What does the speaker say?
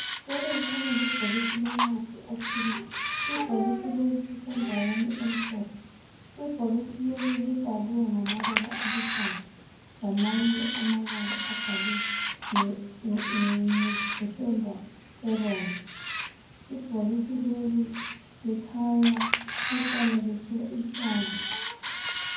Leli kukhanya libhokisi lomuthi othile, ibhokisi leli lisendaweni emhlophe. Ibhokisi leli libhaliwe ngamabala aluhlaza lamanye abhalwe ngependa ebomvu. Ibhokisi leli likhanya lifanekiswe ihlamvu.